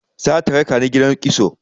Za ta raka ni gidan kitso.